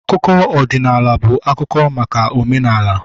Akụkọ ọdịnala bụ akụkọ maka omenala